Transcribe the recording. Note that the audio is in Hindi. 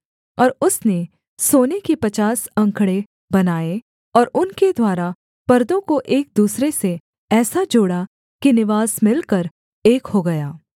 और उसने सोने की पचास अंकड़े बनाए और उनके द्वारा परदों को एक दूसरे से ऐसा जोड़ा कि निवास मिलकर एक हो गया